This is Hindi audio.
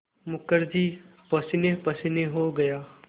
मुखर्जी पसीनेपसीने हो गया